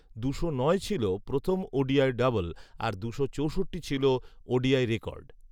দুশো নয় ছিল প্রথম ওডিআই ডাবল আর দুশো চৌষট্টি ছিল ওডিআই রেকর্ড